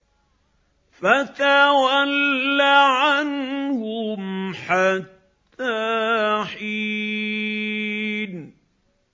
فَتَوَلَّ عَنْهُمْ حَتَّىٰ حِينٍ